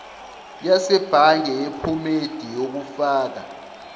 yasebhange yephomedi yokufaka